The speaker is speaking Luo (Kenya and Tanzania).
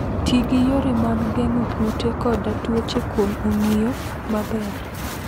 Ti gi yore mag geng'o kute koda tuoche kuom ong'iyo maber.